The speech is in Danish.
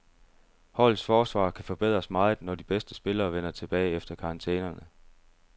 Holdets forsvar kan forbedres meget, når de bedste spillere vender tilbage efter karantænerne.